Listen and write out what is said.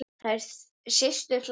Þær systur hlæja.